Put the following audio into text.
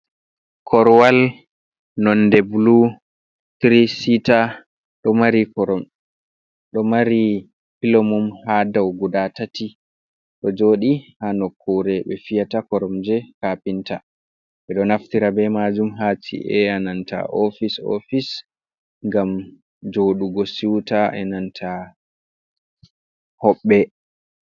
Korwal nonde blu Trisit. Ɗo mari pilomum ha dau guda tati, do joɗi ha nokkure be fiyata koromje kapinta. Ɓe ɗo naftira be majum haci’e a nanta ofic ofise gam jodugo siuta e nanta hobbe.